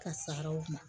Ka saraw ma